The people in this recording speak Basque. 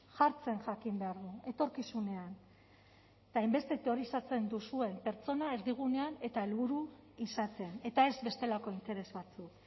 jartzen jakin behar du etorkizunean eta hainbeste teorizatzen duzuen pertsona erdigunean eta helburu izaten eta ez bestelako interes batzuk